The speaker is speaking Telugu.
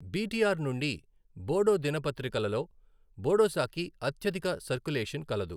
బీటీఆర్ నుండి బోడో దినపత్రికలలో బోడోసాకి అత్యధిక సర్కులేషన్ కలదు.